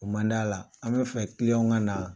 O man d' a la an bɛ fɛ kiliɲanw ka naa